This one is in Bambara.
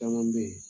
Caman be ye